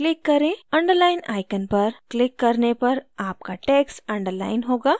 underline icon पर click करने पर आपका text underline होगा